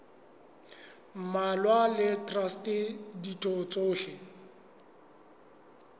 mmalwa le traste ditho tsohle